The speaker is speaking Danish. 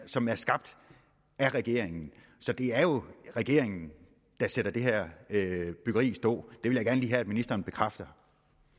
som er skabt af regeringen så det er jo regeringen der sætter det her byggeri i stå det vil jeg gerne lige have at ministeren bekræfter